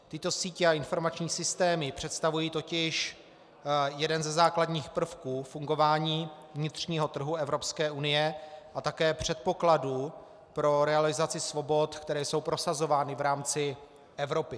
Tyto sítě a informační systémy představují totiž jeden ze základních prvků fungování vnitřního trhu Evropské unie a také předpokladu pro realizaci svobod, které jsou prosazovány v rámci Evropy.